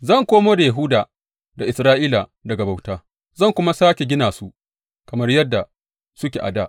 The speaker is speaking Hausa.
Zan komo da Yahuda da Isra’ila daga bauta zan kuma sāke gina su kamar yadda suke a dā.